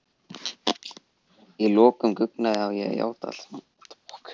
Að lokum guggnaði ég og játaði allt saman.